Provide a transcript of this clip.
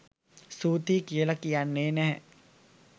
ස්තුතියි කියල කියන්නේ නැහැ.